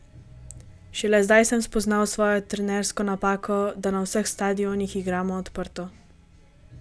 Šele zdaj sem spoznal svojo trenersko napako, da na vseh stadionih igramo odprto.